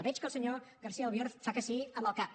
veig que el senyor garcía albiol fa que sí amb el cap